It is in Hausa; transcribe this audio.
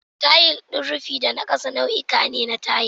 Tayil din rufi da na ƙasa nau'uka ne na tayil.